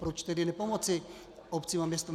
Proč tedy nepomoci obcím a městům?